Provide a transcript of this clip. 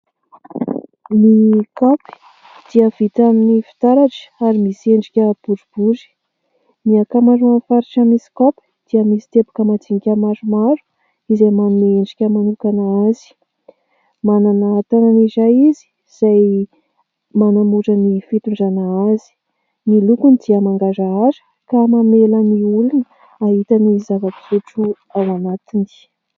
Ny kaopy dia vita amin'ny fitaratra ary misy endrika boribory. Ny ankamaroan'ny faritra misy kaopy dia misy teboka majinika maromaro izay manome endrika manokana azy. Manana tànana iray izy, izay manamora ny fitondrana azy. Ny lokony dia mangarahara ka mamela ny olona hahita ny zavapisotro ao anatiny.